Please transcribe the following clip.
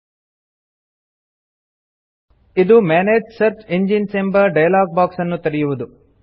000307 000306 ಇದು ಮನಗೆ search engines ಎಂಬ ಡಯಲಾಗ್ ಬಾಕ್ಸ್ ಅನ್ನು ತೆರೆಯುವುದು